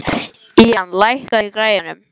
Ían, lækkaðu í græjunum.